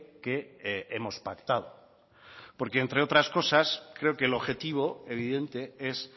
que hemos pactado porque entre otras cosas creo que el objetivo evidente es